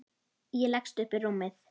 Ég leggst upp í rúmið.